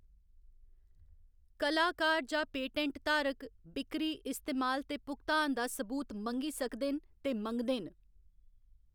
कलाकार जां पेटेंट धारक बिक्करी, इस्तेमाल ते भुगतान दा सबूत मंगी सकदे न ते मंगदे न।